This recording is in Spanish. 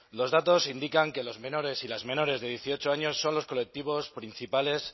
los datos indican que los menores y las menores de dieciocho años son los colectivos principales